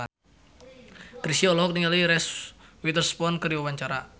Chrisye olohok ningali Reese Witherspoon keur diwawancara